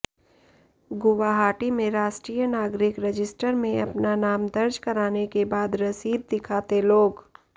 गुवाहाटी में राष्ट्रीय नागरिक रजिस्टर में अपना नाम दर्ज कराने के बाद रसीद दिखाते लोग